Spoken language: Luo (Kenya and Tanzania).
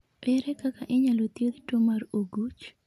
Ere kaka inyalo thiedh tuwo mar oguch?